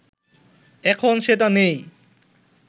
এখন সেটা নেই